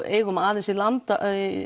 eigum aðeins í land